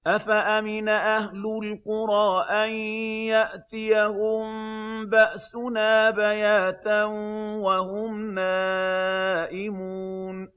أَفَأَمِنَ أَهْلُ الْقُرَىٰ أَن يَأْتِيَهُم بَأْسُنَا بَيَاتًا وَهُمْ نَائِمُونَ